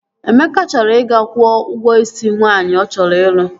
Emeka chọrọ ị ga-kwụọ ụgwọ isi nwaanyị ọ chọrọ ịlụ